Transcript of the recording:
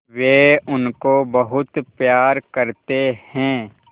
वे उनको बहुत प्यार करते हैं